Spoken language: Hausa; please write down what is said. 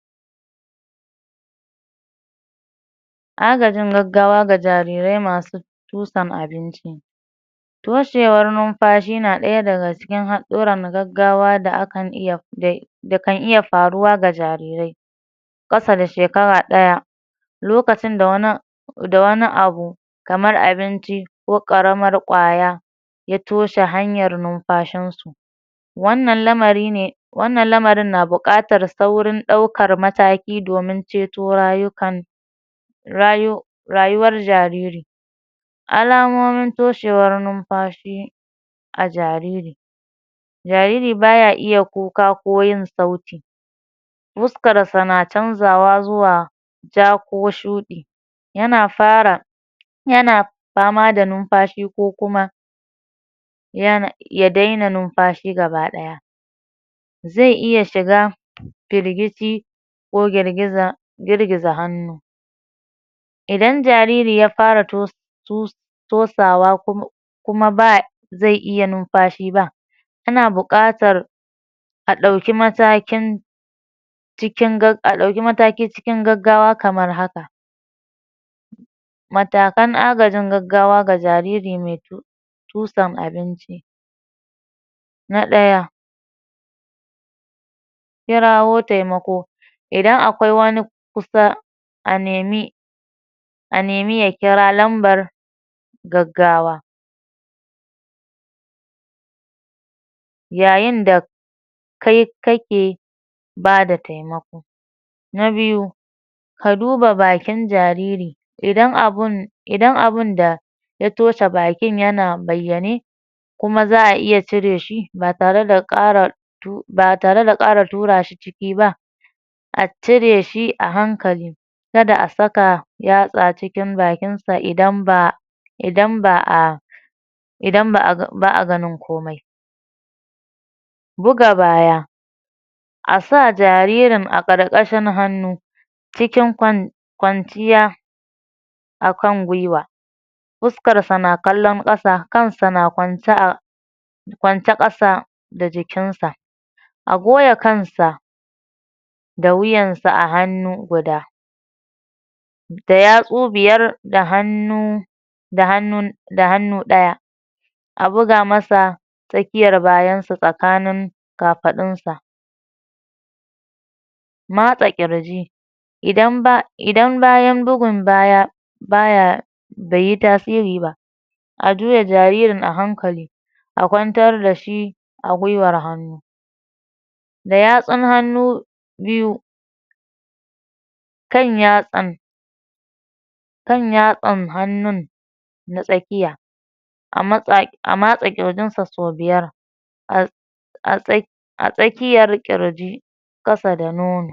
Agajin gaggawa ga jarirai masu tusan abinci toshewar numfashi na ɗaya daga cikin haɗ ɗuran gaggawa da akan iya da kan iya faruwa ga jarirai ƙasa da shekara ɗaya lokacin da wani da wani abu kamar abinci ko ƙaramar ƙwaya ya toshe hanyar numfashin su wannan lamari ne wannan lamarin na buƙatar saurin ɗaukar mataki domin ceto rayukan rayo rayuwar jariri alamomin toshewar numfashi a jariri jariri baya iya kuka ko yin sauti huskar sa na canzawa zuwa ja ko shuɗi yana fara yana fama da numfashi ko kuma yana ya daina numfashi gaba ɗaya zai iya shiga firgici ko girgiza girgiza hannu idan jariri ya fara to tosawa kuma kuma ba zai iya numfashi ba ana buƙatar a ɗauki masakin cikin gag a ɗauki mataki cikin gaggawa kamar haka matakan agajin gaggawa ga jariri mai tusan abinci na ɗaya; kirawo taimako idan akwai wani kusa a nemi a nemi ya kira lambar gaggawa yayin da kai kake bada taimako na biyu; ka duba bakin jariri idan abun idan abunda ya toshe bakin yana bayyane kuma za'a iya cire shi ba tare da ƙara tu ba tare da ƙara tura shi ciki ba a cire shi a hankali kada a saka yatsa cikin bakin sa idan ba idan ba'a idan ba'a ba'a ganin komai buga baya a sa jaririn a ƙarƙashin hannu cikin kwan kwanciya akan gwiwa fuskarsa na kallon ƙasa, kansa na kwance a kwance ƙasa da jikin sa a goya kansa da wuyansa a hannu guda da yatsu biyar da hannu da hannun da hannu ɗaya a buga masa tsakiyar bayan sa tsakanin kafaɗun sa matsa ƙirji idan ba idan bayan bugun baya baya baiyi tasiri ba a juya jaririn a hankali a kwantar dashi a gwiwar hannu da yatsun hannu biyu kan yatsan kan yatsan hannun na tsakiya a ma tsa a matsa ƙirjin sa sau biyar a a tsa a tsakiyar ƙirji ƙasa da nono.